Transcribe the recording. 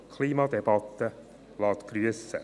Die Klimadebatte lässt grüssen.